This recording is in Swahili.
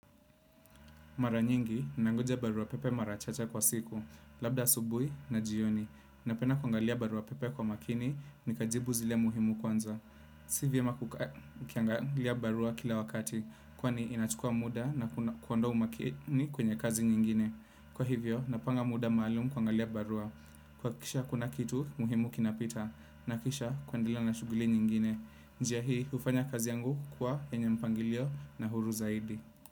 Mara nyingi, nangoja barua pepe mara chache kwa siku, labda asubui na jioni. Napenda kwangalia barua pepe kwa makini, nikajibu zile muhimu kwanza. Sivyema kwangalia barua kila wakati, kwani inachukua muda na kuwondoa umakini kwenye kazi nyingine. Kwa hivyo, napanga muda maalumu kwangalia barua. Kwakisha hakuna kitu muhimu kinapita, nakisha kuendelea na shuguli nyingine. Njia hii, ufanya kazi yangu kukua enye mpangilio na huru zaidi.